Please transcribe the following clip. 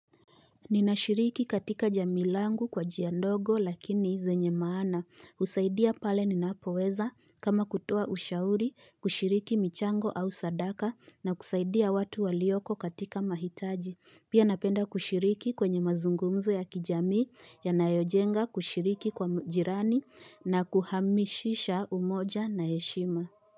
Ninashiriki katika jamii langu kwa njia ndogo lakini zenye maana. Husaidia pale ninapoweza kama kutoa ushauri kushiriki michango au sadaka na kusaidia watu walioko katika mahitaji. Pia napenda kushiriki kwenye mazungumzo ya kijamii yanayojenga kushiriki kwa jirani na kuhamisisha umoja na heshima.